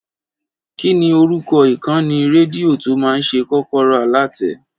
Kí ni orúkọ ìkànnì rédíò tó máa ṣètò Kọ́kọ́rọ́ Alátẹ?